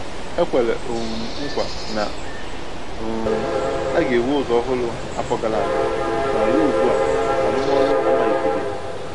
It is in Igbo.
E kwèrè um nkwa na um a ga-ewu ụzọ ọhụrụ afọ gara aga, ma ruo ugbu a, arụmọrụ amalite-beghi